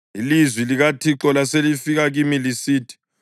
Ilizwi likaThixo laselifika kimi lisithi: